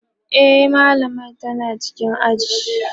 e mallamar tana cikin aji